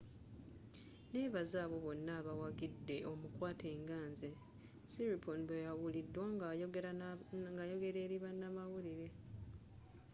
nebaza abo bonna abawagidde omukwaate nga nze siriporn bweyawulidwa ng’a yogela eri banamawulire.